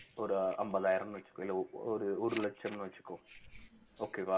ஒரு ஐம்பதாயிரம்னு வச்சுக்கோ இல்லை ஒரு ஒரு லட்சம்னு வச்சுக்கோ okay வா